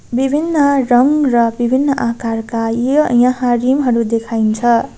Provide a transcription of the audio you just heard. विभिन्न रंग र विभिन्न आकारका ये यहाँ रिम हरू देखाइन्छ।